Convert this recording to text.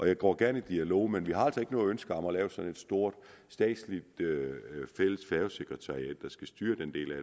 jeg går gerne i dialog men vi har altså ikke noget ønske om at lave sådan et stort statsligt fælles færgesekretariat der skal styre den del af